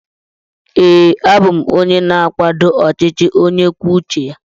Ee, a bụ m onye na-akwado ọchịchị onye kwuo uche ya.